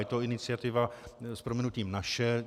Je to iniciativa s prominutím naše.